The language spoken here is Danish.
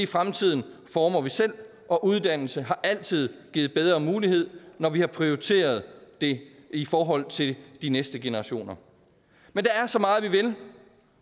fremtiden former vi selv og uddannelse har altid givet bedre mulighed når vi har prioriteret det i forhold til de næste generationer men der er så meget vi vil